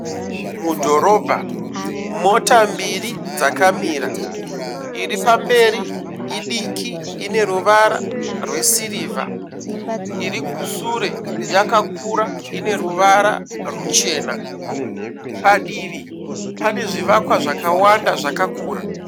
Mudhorobha mota mbiri dzakamira. Iripamberi idiki ine ruvara rwesirivha. Irikusure yakakura ine ruvara ruchena. Padivi pane zvivakwa zvakawanda zvakakura.